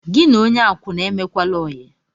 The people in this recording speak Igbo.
Gị na onye akwụna emekwala óyi